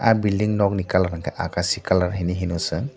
ahh building rok ni colour unke akasi kalar henai hino chung.